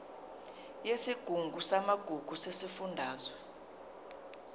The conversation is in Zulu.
yesigungu samagugu sesifundazwe